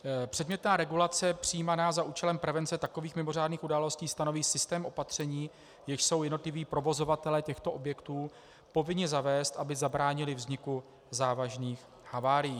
Předmětná regulace, přijímaná za účelem prevence takových mimořádných událostí, stanoví systém opatření, jež jsou jednotliví provozovatelé těchto objektů povinni zavést, aby zabránili vzniku závažných havárií.